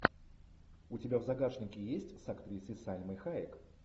у тебя в загашнике есть с актрисой сальмой хайек